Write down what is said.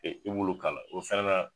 I b'ulu k'a la, o fɛnɛ na